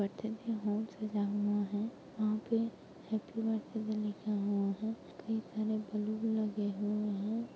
birthday hall सजा हुआ है वहाँ पे हैप्पी बर्थ्डै भी लिखा हुआ है कई सारे बैलून लगे हुए--